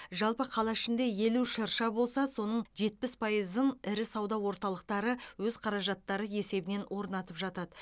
жалпы қала ішінде елу шырша шырша болса соның жетпіс пайызын ірі сауда орталықтары өз қаражаттары есебінен орнатып жатады